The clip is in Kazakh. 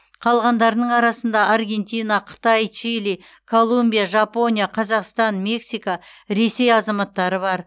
қалғандарының арасында аргентина қытай чили колумбия жапония қазақстан мексика ресей азаматтары бар